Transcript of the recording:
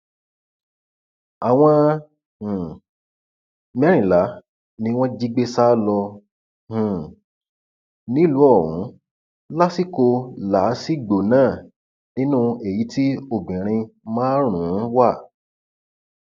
àwọn um mẹrìnlá ni wọn jí gbé sá lọ um nílùú ọhún lásìkò làásìgbò náà nínú èyí tí obìnrin márùnún wà